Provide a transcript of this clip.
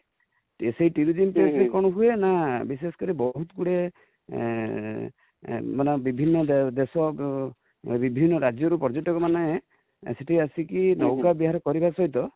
ସେଇ place ରେ କଣ ହୁଏ ନା, ବିଶେଷ କରି ବହୁତ ଗୁଡିଏ ମାନେ ବିଭିନ୍ନ ଦେଶ, ବିଭିନ୍ନ ରାଜ୍ୟ ରୁ ପର୍ଯ୍ୟଟକ ମାନେ ସେଠି କି ଆସି କି ନୌକା ବିହାର କରିବା ସହିତ